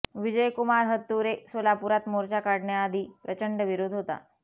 विजयकुमार हत्तुरे ः सोलापुरात मोर्चा काढण्याआधी प्रचंड विरोध होता